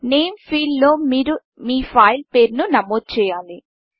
name Fieldనేమ్ ఫీల్డ్లో మీరు మీ ఫైల్ పేరును నమోదు చేయాలి